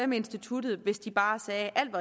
med instituttet hvis de bare sagde at alt